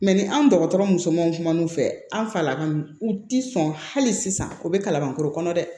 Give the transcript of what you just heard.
Mɛ ni an dɔgɔtɔrɔ musomanw kumu fɛ an falaka u ti sɔn hali sisan o bɛ kalabankɔrɔ kɔnɔ dɛ